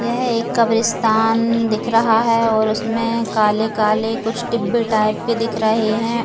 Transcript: यह एक कब्रिस्तान दिख रहा है और उसमे काले काले कुछ डिब्बे टाइप के दिख रहे है।